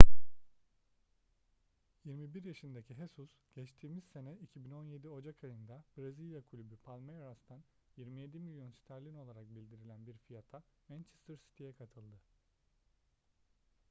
21 yaşındaki jesus geçtiğimiz sene 2017 ocak ayında brezilya kulübü palmeiras'tan 27 milyon sterlin olarak bildirilen bir fiyata manchester city'ye katıldı